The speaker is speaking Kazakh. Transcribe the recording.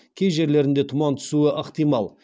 кей жерлерінде тұман түсуі ықтимал